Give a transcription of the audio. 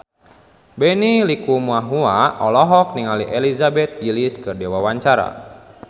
Benny Likumahua olohok ningali Elizabeth Gillies keur diwawancara